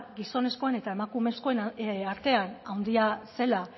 gizonezkoen eta emakumezkoen artean handia zela